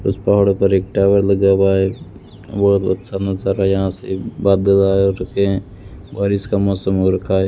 उस पहाड़ों पर एक टावर लगा हुआ है बहोत अच्छा नजारा यहां से बादल आए रखे हैं बारिश का मौसम हो रखा है।